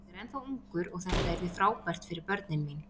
Ég er ennþá ungur og þetta yrði frábært fyrir börnin mín.